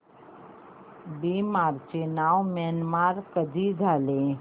Burma चे नाव Myanmar कधी झाले